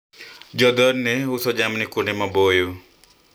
jamii hii huuza mifugo sehemu za mbali